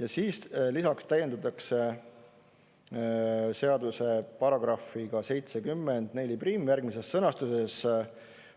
Ja siis lisaks täiendatakse seadust §-ga 704 järgmises sõnastuses: